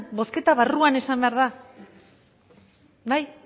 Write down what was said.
bozketa barruan esan behar da bai